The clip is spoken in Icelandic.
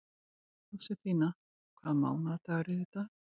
Jósefína, hvaða mánaðardagur er í dag?